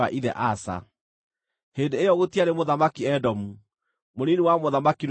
Hĩndĩ ĩyo gũtiarĩ mũthamaki Edomu; mũnini wa mũthamaki nĩwe waathanaga.